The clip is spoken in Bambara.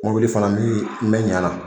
Mobili fana mi mɛ ɲɛ ala